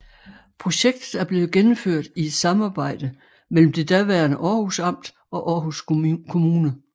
Projektet er blevet gennemført i et samarbejde mellem det daværende Århus Amt og Aarhus Kommune